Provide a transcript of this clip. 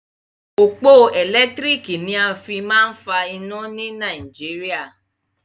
Òpó ẹ̀lẹ́tírìkì ni a fí máa ń fa iná ni Nàìjíríà.